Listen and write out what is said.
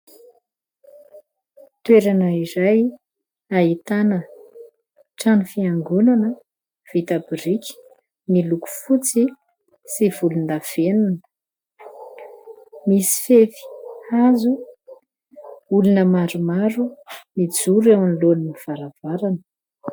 Toerana iray ahitana trano fiangonana vita biriky, miloko fotsy sy volondavenona, misy fefy hazo ; olona maromaro mijoro eo anoloan'ny varavarana.